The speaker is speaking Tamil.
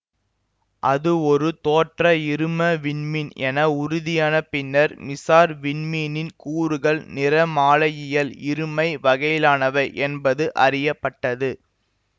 அது ஒரு தோற்ற இரும விண்மீன் என உறுதியான பின்னர் மிசார் விண்மீனின் கூறுகள் நிறமாலையியல் இருமை வகையிலானவை என்பது அறிய பட்டது